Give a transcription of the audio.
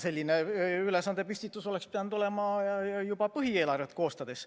Selline ülesandepüstitus oleks pidanud olema juba põhieelarvet koostades.